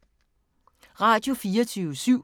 Radio24syv